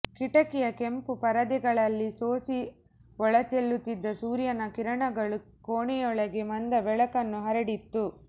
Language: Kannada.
ಕಿಟಕಿಯ ಕೆಂಪು ಪರದೆಗಳಲ್ಲಿ ಸೋಸಿ ಒಳಚೆಲ್ಲುತ್ತಿದ್ದ ಸೂರ್ಯನ ಕಿರಣಗಳು ಕೋಣೆಯೊಳಗೆ ಮಂದ ಬೆಳಕನ್ನು ಹರಡಿತ್ತು